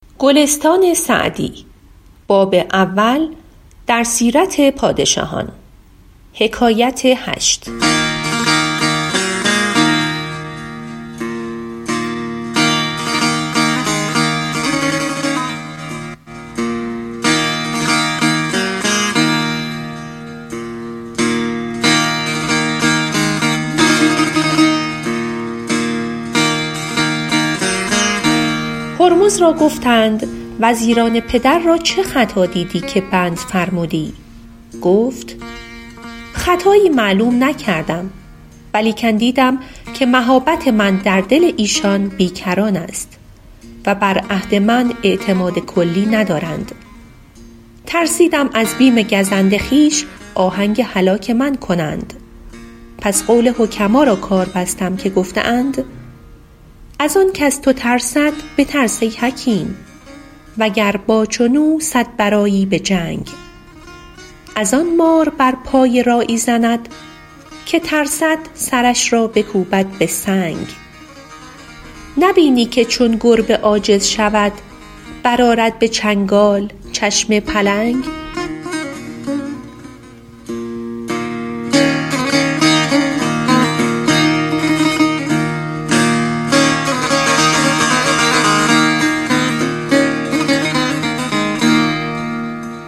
هرمز را گفتند وزیران پدر را چه خطا دیدی که بند فرمودی گفت خطایی معلوم نکردم ولیکن دیدم که مهابت من در دل ایشان بی کران است و بر عهد من اعتماد کلی ندارند ترسیدم از بیم گزند خویش آهنگ هلاک من کنند پس قول حکما را کار بستم که گفته اند از آن کز تو ترسد بترس ای حکیم وگر با چون او صد برآیی به جنگ از آن مار بر پای راعی زند که ترسد سرش را بکوبد به سنگ نبینی که چون گربه عاجز شود برآرد به چنگال چشم پلنگ